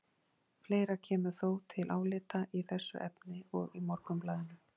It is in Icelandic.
Fleira kemur þó til álita í þessu efni, og í Morgunblaðinu